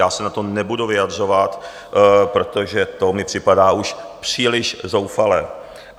Já se na to nebudu vyjadřovat, protože to mi připadá už příliš zoufalé.